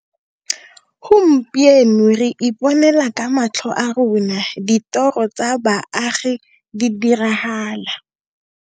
Gompieno re iponela ka matlho a rona ditoro tsa baagi di diragala.